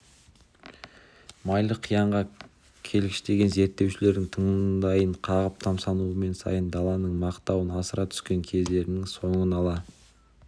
майлы қиянға келгіштеген зерттеушілердің таңдайын қағып тамсанумен сайын даланың мақтауын асыра түскен кездерінің соңын ала